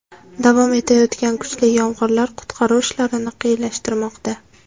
Davom etayotgan kuchli yomg‘irlar qutqaruv ishlarini qiyinlashtirmoqda.